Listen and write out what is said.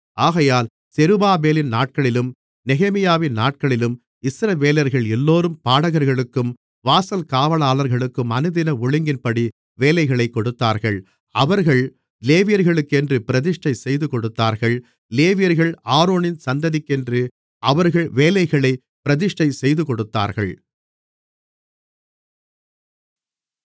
ஆகையால் செருபாபேலின் நாட்களிலும் நெகேமியாவின் நாட்களிலும் இஸ்ரவேலர்கள் எல்லோரும் பாடகர்களுக்கும் வாசல் காவலாளர்களுக்கும் அனுதின ஒழுங்கின்படி வேலைளைக் கொடுத்தார்கள் அவர்கள் லேவியர்களுக்கென்று பிரதிஷ்டை செய்துகொடுத்தார்கள் லேவியர்கள் ஆரோனின் சந்ததிக்கென்று அவர்கள் வேலைகளைப் பிரதிஷ்டை செய்துகொடுத்தார்கள்